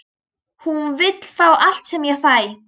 Hún vill fá allt sem ég fæ.